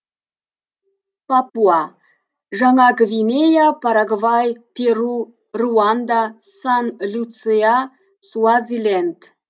папуа жаңа гвинея парагвай перу руанда сан люция суазиленд